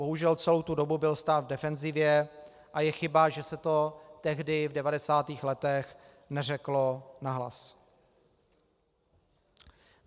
Bohužel, celou tu dobu byl stát v defenzivě a je chyba, že se to tehdy v 90. letech neřeklo nahlas.